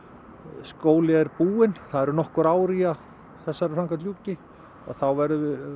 skóli er búinn það eru nokkur ár í að þessari framkvæmd ljúki að þá verði